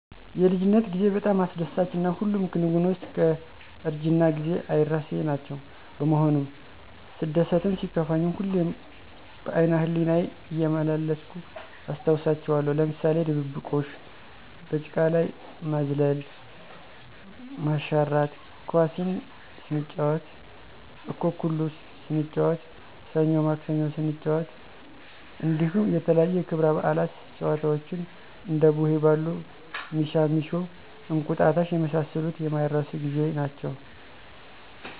የልጅነት ጌዜ በጣም አስደሳች እና ሁሉም ክንወኖች እስከእርጅና ጊዜ አይረሴናቸዉ በመሆኑም ሰደሰትም ሲከፋኝም ሁሌም በአይነህሌናየ እየመላለስሁ አስታወሳቸዋለሁ ለምሳሌ ድብብቆሽ፣ በጭቀላይ መዝል፣ መሽራት፣ ኳስስንጫወት፣ አኩኩሉ ሰንጫወት፣ ሰኞማክሰኞ ሰንጫወት እንዲሁም የተለያዪ የክብረ በአለት ጨዋታወችን እንደቡሄበሉ፣ ሚሻሚሾ፣ አቁጣጣሽ የመሳሰሉት የማይረሱ ጌዜ ናቸዉ።